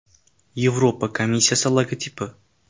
Yevropa komissiyasi logotipi.